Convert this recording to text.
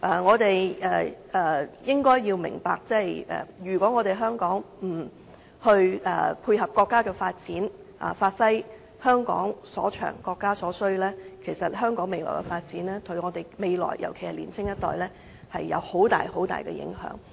我們應該要明白，如果香港不配合國家的發展，發揮香港所長，配合國家所需，對香港未來的發展，尤其對年青一代會有很大影響。